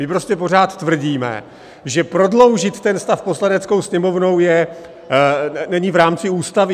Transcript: My prostě pořád tvrdíme, že prodloužit ten stav Poslaneckou sněmovnou není v rámci Ústavy.